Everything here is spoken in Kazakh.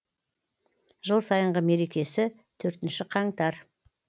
жыл сайынғы мерекесі төртінші қаңтар